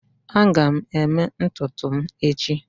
Aga m eme ntutu m echi